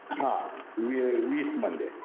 हा. वीस मध्ये.